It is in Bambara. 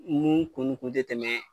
Mun kun kun te tɛmɛ